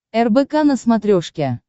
рбк на смотрешке